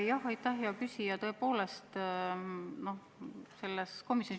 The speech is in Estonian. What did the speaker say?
Jah, aitäh, hea küsija!